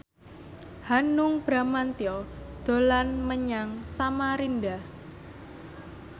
Hanung Bramantyo dolan menyang Samarinda